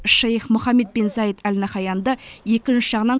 шейх мұхаммед бен заид әл наһаянды екінші жағынан